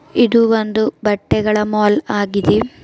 ಇದು ಒಂದು ಬಟ್ಟೆಗಳ ಮಾಲ್ ಆಗಿದೆ.